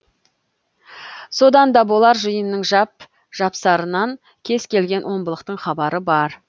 содан да болар жиынның жап жапсарынан кез келген омбылықтың хабары бар